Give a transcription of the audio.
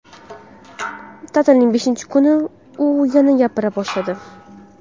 Ta’tilning beshinchi kuni u yana gapira boshladi.